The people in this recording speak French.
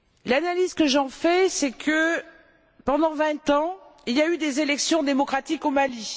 L'analyse que j'en fais, c'est que, pendant vingt ans, il y a eu des élections démocratiques au Mali.